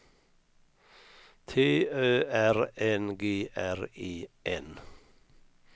T Ö R N G R E N